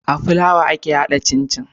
Aa flawa ake hada cin cin